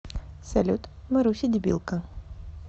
салют маруся дебилка